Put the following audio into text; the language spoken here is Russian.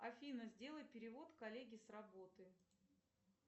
афина сделай перевод коллеге с работы